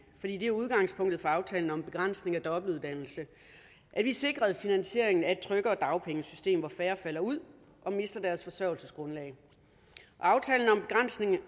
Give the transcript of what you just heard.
det er udgangspunktet for aftalen om begrænsning af dobbeltuddannelse at vi sikrede finansieringen af et tryggere dagpengesystem hvor færre falder ud og mister deres forsørgelsesgrundlag aftalen om begrænsning af